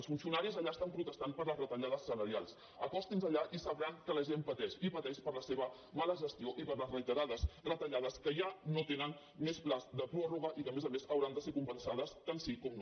els funcionaris allà estan protestant per les retallades salarials acostin se allà i sabran que la gent pateix i pateix per la seva mala gestió i per les reiterades retallades que ja no tenen més termini de pròrroga i que a més a més hauran de ser compensades tant sí com no